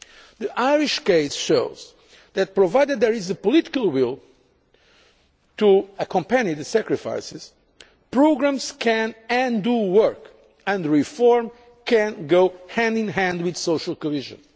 reforms. The Irish case shows that, provided there is the political will to accompany the sacrifices, programmes can and do work and reform can go hand in hand with social